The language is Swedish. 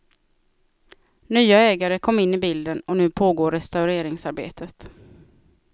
Nya ägare kom in i bilden, och nu pågår restaureringsarbetet.